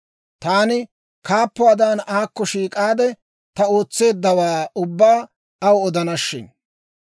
Taani kaappuwaadan aakko shiik'aade, ta ootseeddawaa ubbaa aw odana shin!